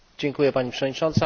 Pani Przewodnicząca!